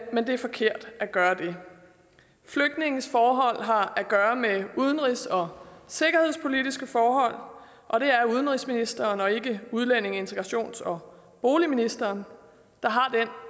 men det er forkert at gøre det flygtninges forhold har at gøre med udenrigs og sikkerhedspolitiske forhold og det er udenrigsministeren og ikke udlændinge integrations og boligministeren der har den